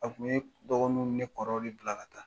A tun bɛ dɔgɔninw ni ne kɔrɔw de bila ka taa